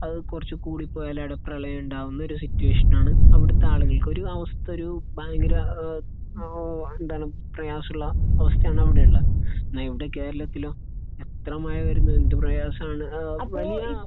അത് കുറച്ച് കൂടിപ്പോയാൽ അവിടെ പ്രളയം ഉണ്ടാകുന്ന ഒരു സിറ്റുവേഷനാണ് അവിടുത്തെ ആളുകൾക്ക്. ഒരു മാസത്തെയോരു ഭയങ്കര ഏഹ് ഏഹ് എന്താണ് പ്രയാസമുള്ള അവസ്ഥയാണ് അവിടെയുള്ളത്. നമ്മുടെ കേരളത്തിലും അത്ര മഴ വരുന്നത് എന്ത് പ്രയാസമാണ്.